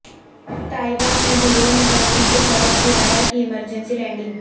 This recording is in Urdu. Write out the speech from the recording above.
تائیوان میں دھوں نکلنے کے سبب طیارہ کی ایمرجنسی لینڈنگ